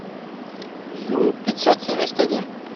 ю пятьсот семьдесят один